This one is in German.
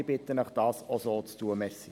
Ich bitte Sie, dies auch zu tun.